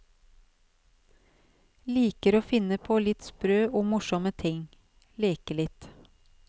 Liker å finne på litt sprø og morsomme ting, leke litt.